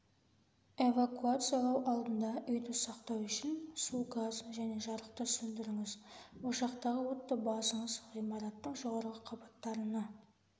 эвакуациялау алдында үйді сақтау үшін су газ және жарықты сөндіріңіз ошақтағы отты басыңыз ғимараттың жоғарғы қабаттарына